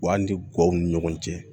Wa hali ni guwan ni ɲɔgɔn cɛ